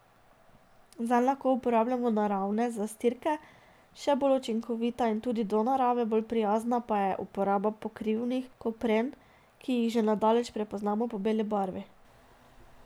Zanj lahko uporabljamo naravne zastirke, še bolj učinkovita in tudi do narave bolj prijazna pa je uporaba pokrivnih kopren, ki jih že na daleč prepoznamo po beli barvi.